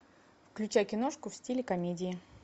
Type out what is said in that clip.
включай киношку в стиле комедии